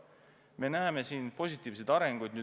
Viimasel ajal me näeme siin positiivseid arenguid.